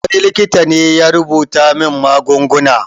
Wani likita ne ya rubuta min magunguna.